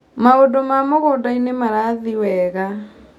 Maũndĩ ma mũgũndainĩ marathi wega.